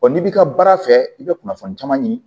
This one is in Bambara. n'i b'i ka baara fɛ i bɛ kunnafoni caman ɲini